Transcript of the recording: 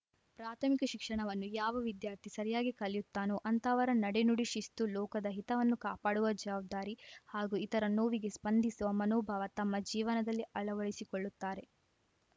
ಪ್ರಾಥಮಿಕ ಶಿಕ್ಷಣವನ್ನು ಯಾವ ವಿದ್ಯಾರ್ಥಿ ಸರಿಯಾಗಿ ಕಲಿಯುತ್ತಾನೋ ಅಂತಹವರ ನಡೆನುಡಿ ಶಿಸ್ತು ಲೋಕದ ಹಿತವನ್ನು ಕಾಪಾಡುವ ಜವಾಬ್ದಾರಿ ಹಾಗೂ ಇತರ ನೋವಿಗೆ ಸ್ಪಂದಿಸುವ ಮನೋಭಾವ ತಮ್ಮ ಜೀವನದಲ್ಲಿ ಅಳವಡಿಕೊಳ್ಳುತ್ತಾರೆ